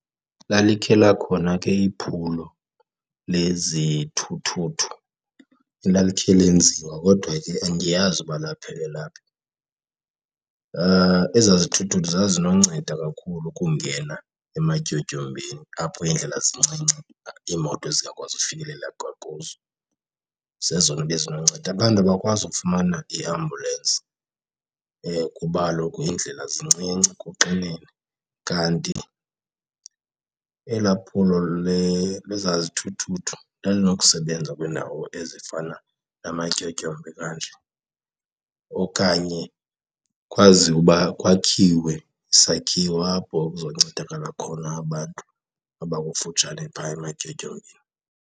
Lalikhe lakhona ke iphulo lezithuthuthu elalikhe lenziwa kodwa ke andiyazi uba laphelela phi. Ezaa zithuthuthu zazinonceda kakhulu ukungena ematyotyombeni apho iindlela zincinci iimoto zingakwazi ufikelela kuzo, zezona bezinonceda. Abantu abakwazi ukufumana iiambulensi kuba kaloku iindlela zincinci kuxinene, kanti elaa phulo lezaa zithuthuthu lalinokusebenza kwiindawo ezifana namatyotyombe kanje. Okanye kwaziwe uba kwakhiwe isakhiwo apho kuzoncedakala khona abantu abakufutshane phaa ematyotyombeni.